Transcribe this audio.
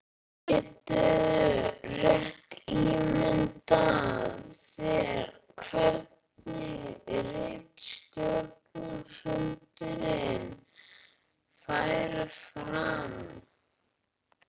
Geturðu rétt ímyndað þér hvernig ritstjórnarfundirnir færu fram?